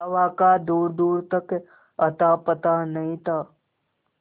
हवा का दूरदूर तक अतापता नहीं था